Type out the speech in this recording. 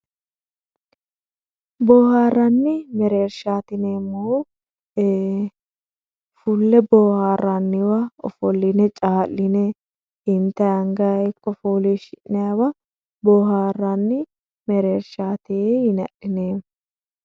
Boohaarranni mereershaati yineemmohu fulle boohaarranniwa ofolline caa'line intayii angayii hakko fooliishshi'nayiiwa boohaarranni mereershaati yine adhineemmo